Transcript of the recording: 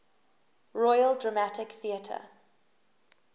royal dramatic theatre